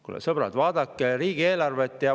Kulla sõbrad, vaadake riigieelarvet!